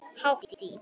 Hátt í